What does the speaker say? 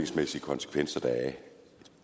skal svare